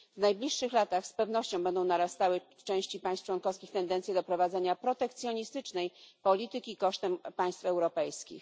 W najbliższych latach z pewnością będą narastały w części państw członkowskich tendencje do prowadzenia protekcjonistycznej polityki kosztem państw europejskich.